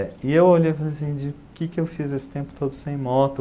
Eh, e eu olhei e pensei assim, de, o que que eu fiz esse tempo todo sem moto?